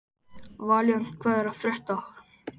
Valíant, hvað er að frétta?